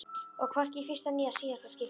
Og hvorki í fyrsta né síðasta skipti.